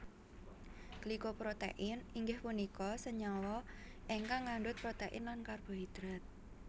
Glyco protein inggih punika senyawa ingkang ngandut protein lan karbohidrat